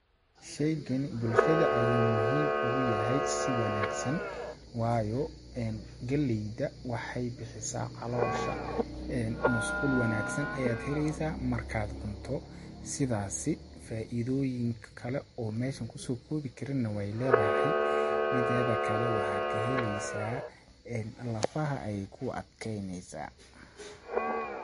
Sheygani bulshada ayuu muhiim ugu yahay si wanaagsan waayo, galleyda waxeey bixisaa caloosha, masqul wanaagsan ayaad heleysaa markaad cunto ,sidaasi faaidooyin kale oo meeshan kusoo koobi karin na weey leedahay, mideeda kale waxaa ka heleysaa ,een lafaha ayeey kuu adkeyneysaa .